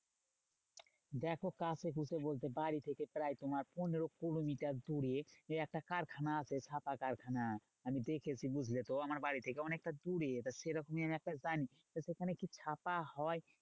দেখো কাছেপিঠে বলতে বাড়ি থেকে প্রায় তোমার পনেরো কুড়ি মিটার দূরে একটা কারখানা আছে ছাপা কারখানা। আমি দেখেছি বুঝলে তো? আমার বাড়ি থেকে অনেকটা দূরে তা সেরকম আমি একটা জানি। সেখানে কি ছাপা হয়?